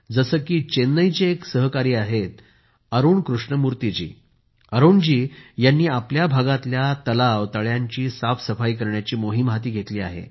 जसे की चेन्नईचे एक सहाकारी आहेत अरूण कृष्णमूर्ती जी अरूण जी यांनी आपल्या भागातल्या तलाव तळ्यांची साफसफाई करण्याची मोहीम हाती घेतली आहे